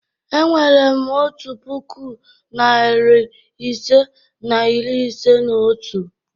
E nwere m otu puku, narị ise na iri ise na otu.